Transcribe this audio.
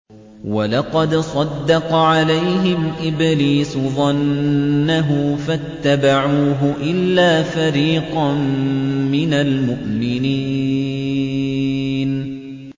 وَلَقَدْ صَدَّقَ عَلَيْهِمْ إِبْلِيسُ ظَنَّهُ فَاتَّبَعُوهُ إِلَّا فَرِيقًا مِّنَ الْمُؤْمِنِينَ